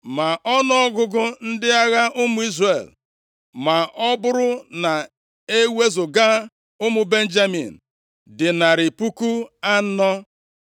Ma ọnụọgụgụ ndị agha ụmụ Izrel, ma ọ bụrụ na e wezuga ụmụ Benjamin, dị narị puku anọ.